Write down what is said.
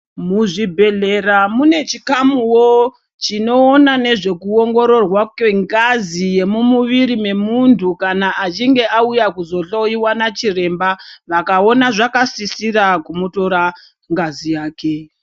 Muzvibhedhlera mune chikamuwo chinoona nezve kuongororwa kwengazi yemumuviri memuntu kana achinge auya kuzohloiwa nachiremba vakaona zvakasisira kutora ngazi yake.